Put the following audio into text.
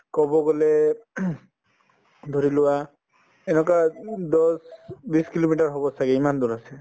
কব গলে ধৰিলোৱা এনেকুৱা উম দহ বিশ kilometer হব ছাগে ইমান দূৰ আছে